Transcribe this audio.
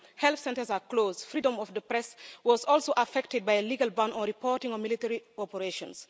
Health centres are closed. Freedom of the press was also affected by a legal ban on reporting on military operations.